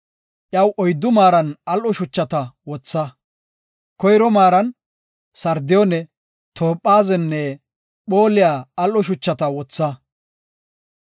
Iyaw oyddu maaran al7o shuchata wotha. Koyro maaran sardiyoone, toophazenne phooliya al7o shuchata wotha.